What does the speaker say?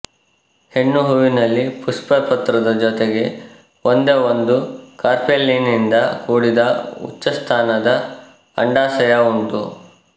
ಹೆಣ್ಣುಹೂವಿನಲ್ಲಿ ಪುಷ್ಪಪತ್ರದ ಜೊತೆಗೆ ಒಂದೇ ಒಂದು ಕಾರ್ಪೆಲಿನಿಂದ ಕೂಡಿದ ಉಚ್ಚಸ್ಥಾನದ ಅಂಡಾಶಯ ಉಂಟು